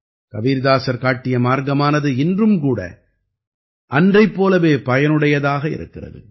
கபீர்தாசர் காட்டிய மார்க்கமானது இன்றும் கூட அன்றைப் போலவே பயனுடையதாக இருக்கிறது